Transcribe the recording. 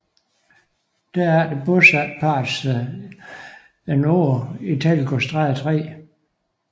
Derefter bosatte parret sig et år i Teglgårdstræde 3